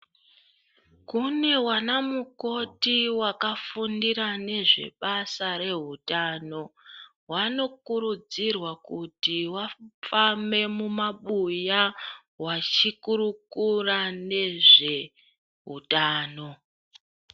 Kune wanamukoti wakafundira nezvebasa rehutano. Wanokurudzirwa kuti wafambe mumabuya wachikurukura nezvehutano.